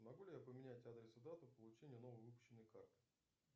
могу ли я поменять адрес и дату получения новой выпущенной карты